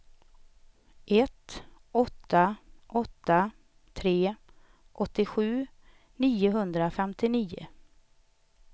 ett åtta åtta tre åttiosju niohundrafemtionio